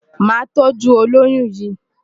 Màá tọ́jú olóyún yìí.